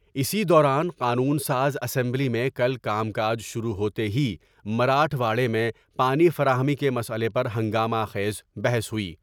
اسی دوران قانون ساز اسمبلی میں کل کا م کا ج شروع ہوتے ہی مراٹھواڑے میں پانی فراہمی کے مسئلے پر ہنگامہ خیز بحث ہوئی ۔